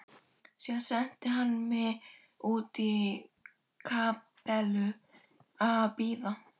Síðan sendi hann mig út í kapellu að biðja.